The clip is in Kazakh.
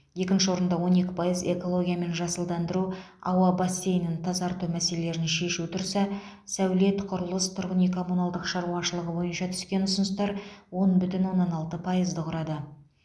екінші орында он екі пайыз экология мен жасылдандыру ауа бассейнін тазарту мәселелерін шешу тұрса сәулет құрылыс тұрғын үй коммуналдық шаруашылық бойынша түскен ұсыныстар он бүтін оннан алты пайызды құрады